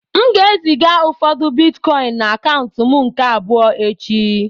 A ga m eziga ụfọdụ bịtkọin na akaụntu m nke abụọ echi